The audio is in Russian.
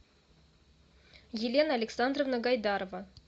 елена александровна гайдарова